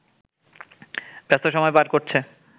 ব্যস্ত সময় পার করছে